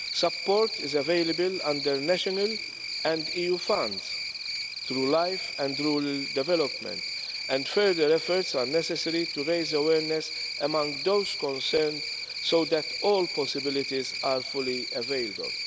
Support is available under national and EU funds, through LIFE and rural development projects, and further efforts are necessary to raise awareness among those concerned, so that all possibilities are fully availed of.